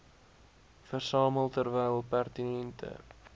versamel terwyl pertinente